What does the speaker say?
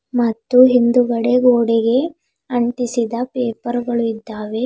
ಮತ್ತು ಹಿಂದುಗಡೆ ಗೋಡೆಗೆ ಅಂಟಿಸಿದ ಪೇಪರ್ ಗಳು ಇದ್ದಾವೆ.